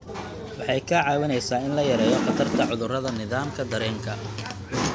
Waxay kaa caawinaysaa in la yareeyo khatarta cudurrada nidaamka dareenka.